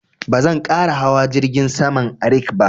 Ba zan ƙara hawa jirgin saman Arik ba